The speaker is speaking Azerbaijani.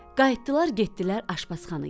Qayıtdılar, getdilər aşpazxanaya.